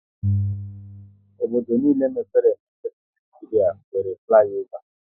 Obodo niile mepere emepe n'Naijiria nwéré fliova